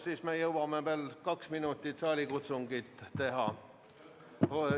Siis me jõuame veel kaks minutit saalikutsungit teha.